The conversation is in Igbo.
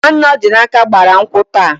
Nwanne Ọdịnaka gbara nkwụ taa.